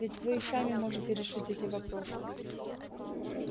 ведь вы и сами можете решить эти вопросы